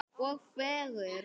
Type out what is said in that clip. Og fegurð.